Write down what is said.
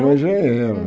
Como engenheiro.